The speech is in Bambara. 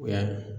O y'a ye